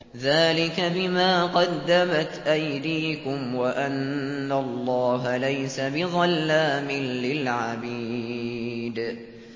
ذَٰلِكَ بِمَا قَدَّمَتْ أَيْدِيكُمْ وَأَنَّ اللَّهَ لَيْسَ بِظَلَّامٍ لِّلْعَبِيدِ